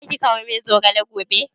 Zaki kawo min zogale gobe?